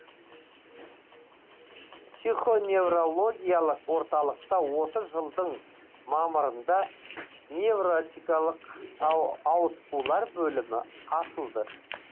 психоневрологиялық орталықта осы жылдың мамырында невротикалық ауытқулар бөлімі ашылды